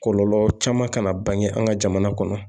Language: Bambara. Kɔlɔlɔ caman kana bange an ka jamana kɔnɔ